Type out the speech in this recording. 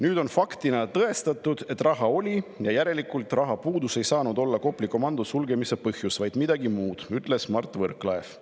Nüüd on faktina tõestatud, et raha oli, järelikult ei saanud Kopli komando sulgemise põhjus olla rahapuudus, see pidi olema midagi muud, ütles Mart Võrklaev.